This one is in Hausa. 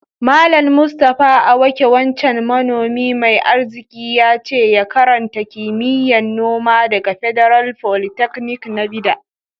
Mallam Mustapha awake wancan manomi mai arziki, yace ya karanta kimiyya'n noma daga Federal Polytechnic na Bida.